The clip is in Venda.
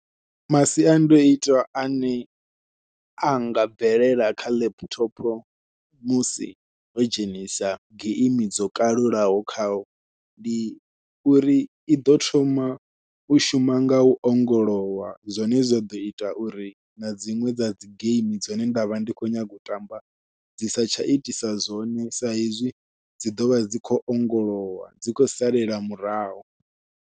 Masiandoitwa ane anga bvelela kha laptop musi ho dzhenisa geimi dzo kalulaho khao, ndi uri iḓo thoma u shuma ngau ongolowa zwine zwa ḓo ita uri na dziṅwe dza dzi geimi dzine nda vha ndi khou nyaga u tamba dzi sa tsha itisa zwone saizwi dzi ḓovha dzi khou ongolowa dzi khou salela murahu.